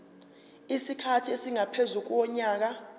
isikhathi esingaphezu konyaka